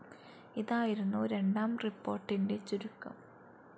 ഇതായിരുന്നു രണ്ടാം റിപ്പോർട്ടിൻ്റെ ചുരുക്കം.